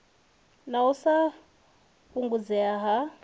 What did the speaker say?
na u sa fhungudzea ha